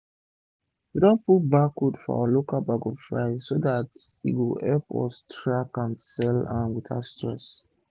we don put barcode for our local bag of rice so dat e go epp us track and sell am without stress